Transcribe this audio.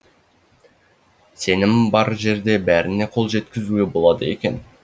сенім бар жерде бәріне қол жеткізуге болады екен